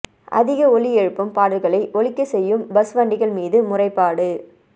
அதிக ஒலி எழுப்பும் பாடல்களை ஒலிக்கச் செய்யும் பஸ் வண்டிகள் மீது முறைப்பாடு